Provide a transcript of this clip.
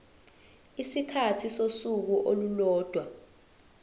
isikhathi sosuku olulodwa